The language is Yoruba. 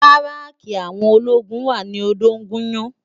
Báráki áwòn ólógún wá ni Odogunyan